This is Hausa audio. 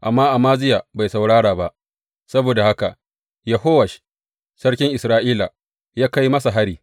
Amma Amaziya bai saurara ba, saboda haka Yehowash sarkin Isra’ila ya kai masa hari.